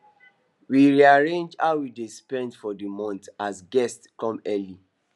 we rearrange how we dey spend for the month as guests come early